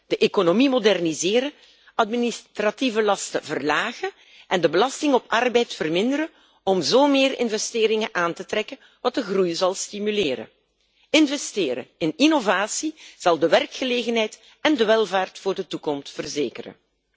De economie moderniseren, administratieve lasten verlagen en de belasting op arbeid verminderen, om zo meer investeringen aan te trekken, wat de groei zal stimuleren. Investeren in innovatie zal de werkgelegenheid en de welvaart voor de toekomst verzekeren.